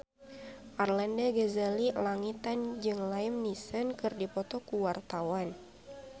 Arlanda Ghazali Langitan jeung Liam Neeson keur dipoto ku wartawan